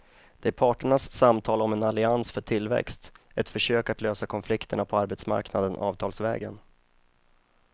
Det är parternas samtal om en allians för tillväxt, ett försök att lösa konflikterna på arbetsmarknaden avtalsvägen.